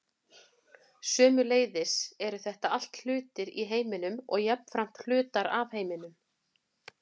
sömuleiðis eru þetta allt hlutir í heiminum og jafnframt hlutar af heiminum